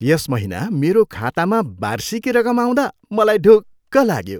यस महिना मेरो खातामा वार्षिकी रकम आउँदा मलाई ढुक्क लाग्यो।